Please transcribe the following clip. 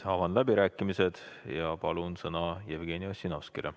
Avan läbirääkimised ja annan sõna Jevgeni Ossinovskile.